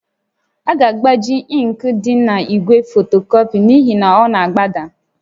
A ga-agbaju ịnkị dị n'igwe fotocopy n'ihi na ọ na-agbada